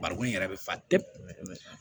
Barikɔn in yɛrɛ bɛ fa tewu